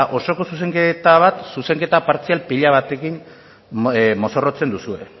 osoko zuzenketa partzial pila batekin mozorrotzen duzue